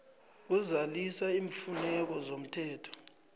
kuzalisa iimfuneko zomthetho